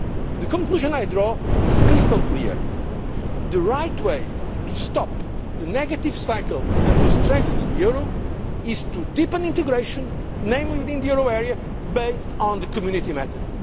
parts. The conclusion I draw is crystal clear the right way to stop the negative cycle and to strengthen the euro is to deepen integration, namely within the euro area, based on the Community